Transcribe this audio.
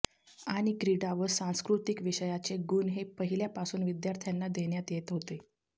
आणि क्रीडा व सांस्कृतिक विषयाचे गुण हे पहिल्या पासुन विद्यार्थ्यांना देण्यात येत होते